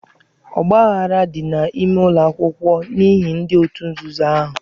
Ọgbaaghara dị n'ime ụlọ akwụkwọ n'ihi ndị òtù nzuzo ahụ.